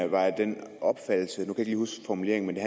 var af den opfattelse nu kan lige huske formuleringen at det